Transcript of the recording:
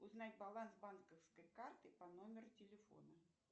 узнать баланс банковской карты по номеру телефона